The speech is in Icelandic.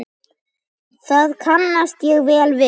Það kannast ég vel við.